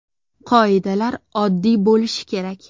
Qoidalar oddiy bo‘lishi kerak.